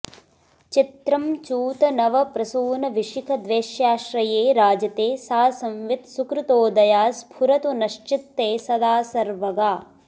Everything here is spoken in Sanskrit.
चित्रं चूतनवप्रसूनविशिखद्वेष्याश्रये राजते सा संवित् सुकृतोदया स्फुरतु नश्चित्ते सदा सर्वगा